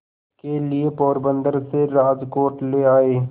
के लिए पोरबंदर से राजकोट ले आए